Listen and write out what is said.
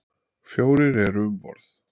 Fjórir eru um borð.